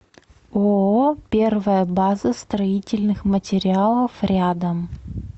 ооо первая база строительных материалов рядом